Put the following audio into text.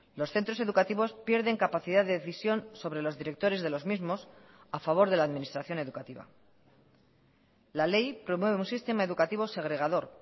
los centros educativos pierden capacidad de decisión sobre los directores de los mismos a favor de la administración educativa la ley promueve un sistema educativo segregador